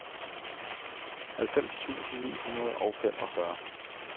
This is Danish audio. halvfems tusind ni hundrede og femogfyrre